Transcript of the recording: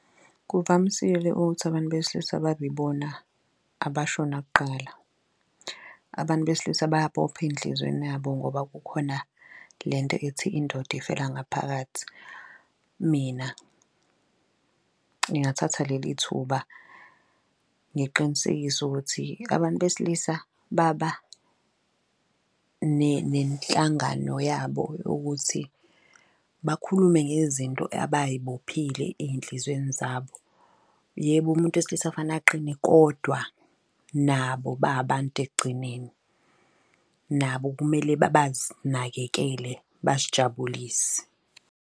Kuvamisile ukuthi abantu besilisa babibona abashona kuqala. Abantu besilisa bayabopha ey'nhlizweni yabo ngoba kukhona le nto ethi, indoda ifela ngaphakathi. Mina ngingathatha leli thuba ngiqinisekise ukuthi abantu besilisa baba nenhlangano yabo yokuthi bakhulume ngezinto abayi bophile eyinhlizweni zabo. Yebo, umuntu wesilisa kufana aqinile kodwa nabo babantu ekugcineni nabo kumele bazinakekele, bazijabulise.